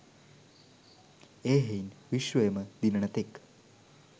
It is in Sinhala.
එහෙයින් විශ්වයම දිනන තෙක්